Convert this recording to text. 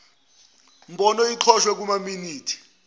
mbono iqoshwe kumaminithi